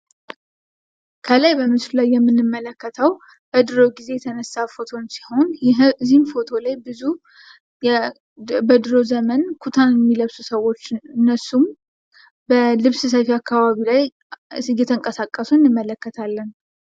ከላይ ምስሉ ላይ የምንመለከተው በድሮ ጊዜ የተነሳ ፎቶ ነው ።እዚህ ፎቶ ላይ ኩታ የሚለብሱ ሰዎች በልብስ ሰፊ አካባቢ ላይ እየተንቀሳቀሱ እናያለን።